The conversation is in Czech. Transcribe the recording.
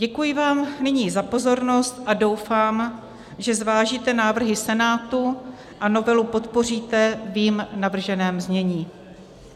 Děkuji vám nyní za pozornost a doufám, že zvážíte návrhy Senátu a novelu podpoříte v jím navrženém znění.